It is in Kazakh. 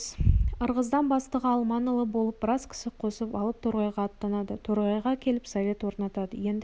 ырғыздан бастығы алманұлы болып біраз кісі қосып алып торғайға аттанады торғайға келіп совет орнатады енді біз